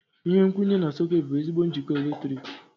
Ihe nkwụnye na sọ̀két bụ ezigbo njikọ eletrik.